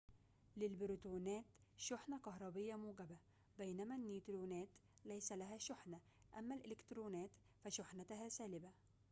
للبروتونات شحنة كهربية موجبة بينما النيوترونات ليس لها شحنة أما الإلكترونات فشحنتها سالبة